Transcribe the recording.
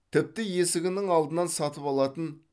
тіпті есігінің алдынан сатып алатын